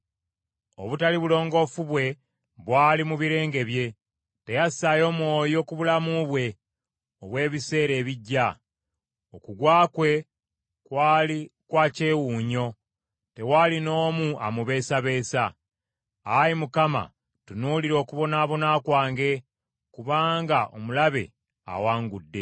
Obutali bulongoofu bwe bwali mu birenge bye; teyassaayo mwoyo ku bulamu bwe obw’ebiseera ebijja. Okugwa kwe kwali kwa kyewuunyo; tewaali n’omu amubeesabeesa. “Ayi Mukama , tunuulira okubonaabona kwange, kubanga omulabe awangudde.”